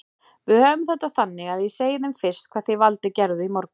Við höfum þetta þannig að ég segi þeim fyrst hvað þið Valdi gerðuð í morgun.